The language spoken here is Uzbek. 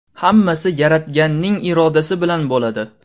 Hammasi Yaratganning irodasi bilan bo‘ladi.